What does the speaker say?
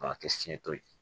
K'a kɛ fiɲɛ to ye